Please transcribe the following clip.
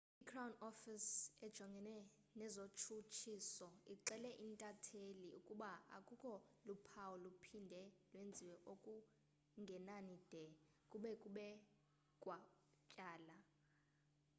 i-crown office ejongene nezotshutshiso ixele intatheli ukuba akukho luphawu luphinde lwenziwe okungenani de kube kubekwa tyala